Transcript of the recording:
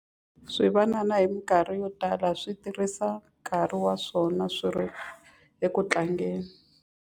Swivanana hi mikarhi yo tala swi tirhisa nkarhi wa swona swi ri eku tlangeni.